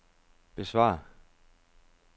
besvar